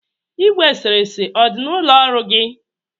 Igwe eserese ọ dị n'ụlọ ọrụ gi?